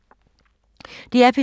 DR P3